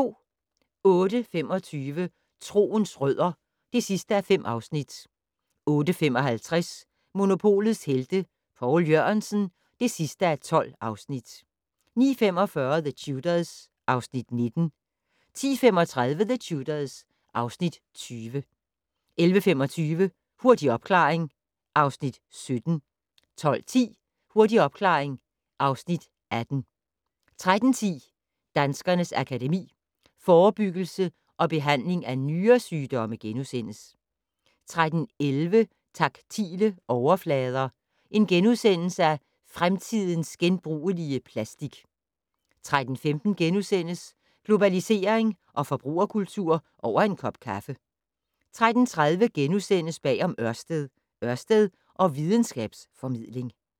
08:25: Troens rødder (5:5) 08:55: Monopolets Helte - Poul Jørgensen (12:12) 09:45: The Tudors (Afs. 19) 10:35: The Tudors (Afs. 20) 11:25: Hurtig opklaring (Afs. 17) 12:10: Hurtig opklaring (Afs. 18) 13:10: Danskernes Akademi: Forebyggelse og behandling af nyresygdomme * 13:11: Taktile overflader - fremtidens genbrugelige plastik * 13:15: Globalisering og forbrugerkultur - over en kop kaffe * 13:30: Bag om Ørsted - Ørsted og videnskabs-formidling *